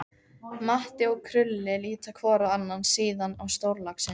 Matti og Krulli líta hvor á annan, síðan á stórlaxinn.